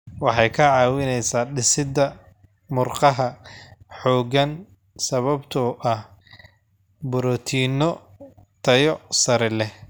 Waxay ka caawisaa dhisidda murqaha xooggan sababtoo ah borotiinno tayo sare leh.